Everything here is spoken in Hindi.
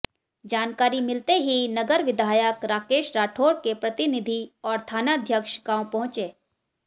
जानकारी मिलते ही नगर विधायक राकेश राठौर के प्रतिनिधि और थानाध्यक्ष गांव पहुंचे